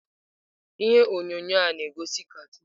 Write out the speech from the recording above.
Ihe onyonyo a na-egosi katoon.